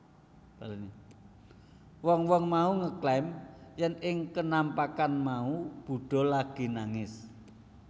Wong wong mau ngeklaim yèn ing kenampakan mau Buddha lagi nangis